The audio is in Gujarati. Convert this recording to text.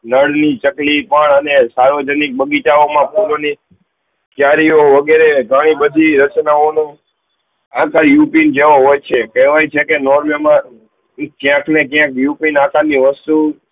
ચકલી પણ અને સાર્વજનિક બગીચાઓ માં ફૂલો ની ક્યારીઓ વગેરે તોઈ બધી રચનાઓ નું ઉપી ની જેવો હોય છે કેહ્વયે છે કે નોર્વે માં ક્યાંક ના ક્યાંક ઉપીન આકાર ની વસ્તુ